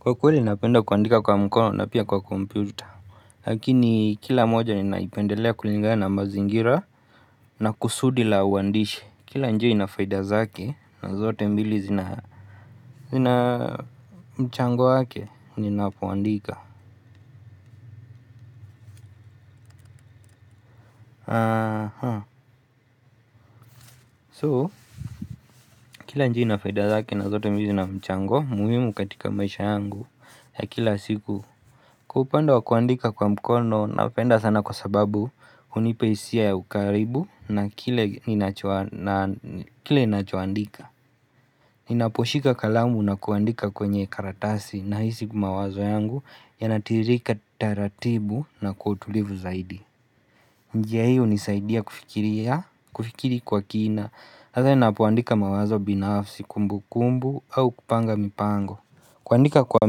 Kwa kweli napenda kuandika kwa mkono na pia kwa computer Lakini kila moja ninaipendelea kulingana na ma zingira na kusudi la uandishe Kila njia inafaida zake na zote mbili zina mchango wake ninapowandika So kila njia ina faida zake na zote mbili zina mchango muhimu katika maisha yangu ya kila siku kupenda wa kuandika kwa mkono napenda sana kwa sababu hunipa hisia ya ukaribu na kile ninacho kile nachoandika Ninaposhika kalamu na kuandika kwenye karatasi na hisi mawazo yangu Yanatirika taratibu na kwa utulivu zaidi njia hii unisaidia kufikiri kwa kina has ninapoandika mawazo binafsi kumbu kumbu au kupanga mipango kuandika kwa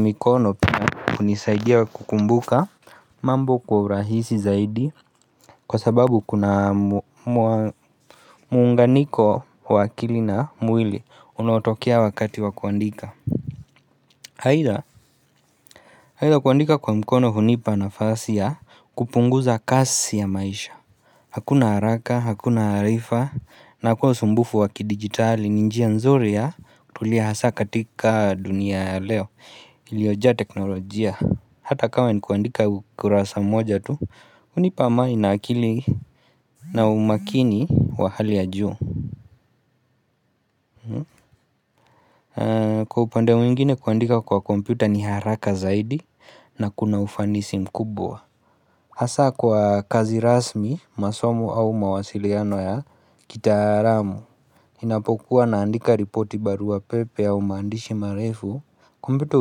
mikono pia unisaidia kukumbuka mambo kwa urahisi zaidi Kwa sababu kuna muunganiko wa akili na mwili Unaotokea wakati wa kuandika Haida kuandika kwa mkono hunipa na fasi ya kupunguza kasi ya maisha Hakuna haraka, hakuna harifa na kwa usumbufu wakidigitali Ninji ya nzuri ya Tulia hasa katika dunia ya leo Iliojaa teknolojia Hata kama ni kuandika ukurasa moja tu hunipa maina akili na umakini wa hali ya juu Kwa upande mwingine kuandika kwa komputa ni haraka zaidi na kuna ufanisi mkubwa hasa kwa kazi rasmi masomo au mawasiliano ya Kitaraamu Inapokuwa naandika ripoti barua pepe au maandishi marefu kompyuta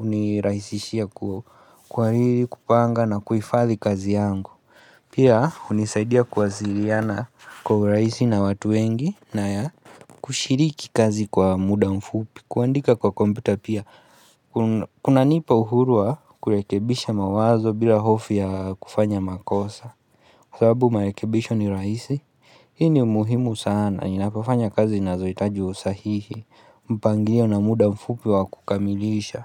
uniraihisishia kwa hili kupanga na kuifadhi kazi yangu Pia unisaidia kuwasiliana Kwa uraisi na watu wengi na ya kushiriki kazi kwa muda mfupi kuandika kwa komputa pia Kuna nipa uhuru wa kurekebisha mawazo bila hofi ya kufanya makosa sababu marekebisha ni raisi Hii ni umuhimu sana Ninapofanya kazi na zinazohitaji usahihi Mpangirio na muda mfupi wa kukamilisha.